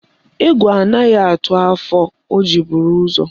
Egwu anaghị atụ afọ, o buru ụzọ.